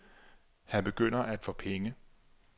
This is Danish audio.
Han begynder at få penge.